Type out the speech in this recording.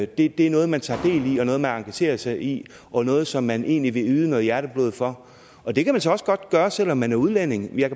det er noget man tager del i og noget man engagerer sig i og noget som man egentlig vil yde noget hjerteblod for og det kan man så også godt gøre selv om man er udlænding jeg